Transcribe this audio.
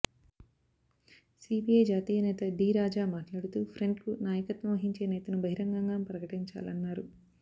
CPI జాతీయ నేత D Raja మాట్లాడుతూ ఫ్రంట్కు నాయకత్వం వహించే నేతను బహిరంగంగా ప్రకటించాలన్నారు